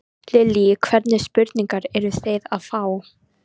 Lillý: Hvernig spurningar eruð þið að fá?